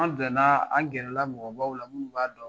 An na an gɛrɛ la mɔgɔbaw la munnu b'a dɔn.